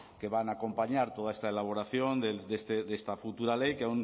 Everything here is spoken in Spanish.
que van a acompañar toda esta elaboración de esta futura ley que